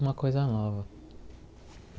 Uma coisa nova.